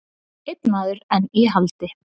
Einn maður enn í haldi